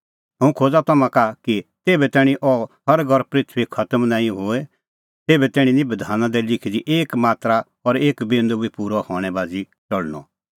हुंह खोज़ा तम्हां का सत्त कि ज़ेभै तैणीं अह सरग और पृथूई खतम नां होए तेभै तैणीं निं बधाना दी लिखी दी एक मात्रा और एक बिंदू बी पूरअ हणैं बाझ़ी टल़णअ